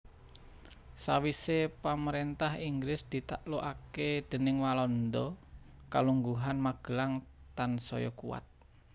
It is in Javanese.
Sawisé pamaréntah Inggris ditaklukaké déning Walanda kalungguhan Magelang tansaya kuwat